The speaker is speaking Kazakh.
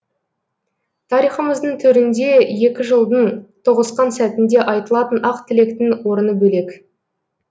тарихымыздың төрінде екі жылдың тоғысқан сәтінде айтылатын ақ тілектің орны бөлек